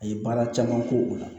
A ye baara caman k'o la